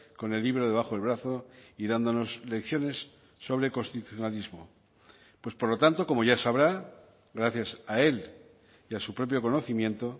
con el libro debajo del brazo y dándonos lecciones sobre constitucionalismo pues por lo tanto como ya sabrá gracias a él y a su propio conocimiento